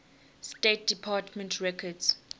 state department records